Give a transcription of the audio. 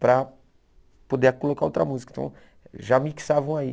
para poder colocar outra música, então já mixavam aí.